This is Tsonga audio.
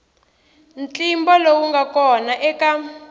ntlimbo lowu nga kona eka